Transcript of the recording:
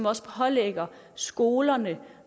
også pålægger skolerne